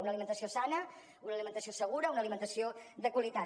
una alimentació sana una alimentació segura una alimentació de qualitat